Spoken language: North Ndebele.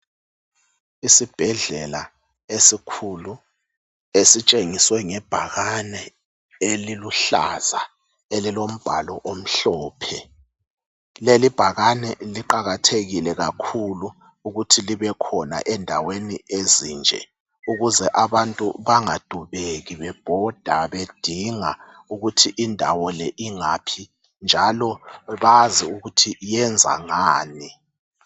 isibhedlela esikhulu esitshengiswe ngebhakane eliluhlaza elilombhalo omhlophe lelibhakane liqakathekile kakhulu ukuthi libe khona endaweni ezinje ukuze abantu bangadubeki bebhoda bedinga ukuthi indawo le ingaphi njalo bazi ukuthi iyenza ngani